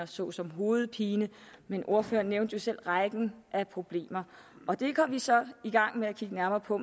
såsom hovedpine men ordføreren nævnte jo selv rækken af problemer og det går vi så i gang med at kigge nærmere på